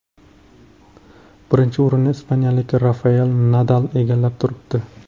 Birinchi o‘rinni ispaniyalik Rafael Nadal egallab turibdi.